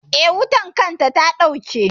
Eh, wutar ƙwan ta ɗauke.